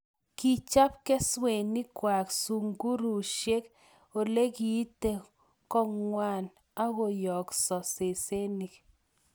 Kichop keswenik kwai sungurusiek olelekite kongwai akoyokso sesenik